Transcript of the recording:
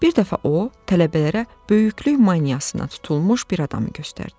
Bir dəfə o, tələbələrə böyüklük maniyasına tutulmuş bir adamı göstərdi.